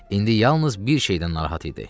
İndi yalnız bir şeydən narahat idi.